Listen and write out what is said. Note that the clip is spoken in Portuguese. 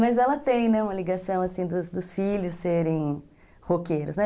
Mas ela tem, né, assim, uma ligação dos filhos serem roqueiros, né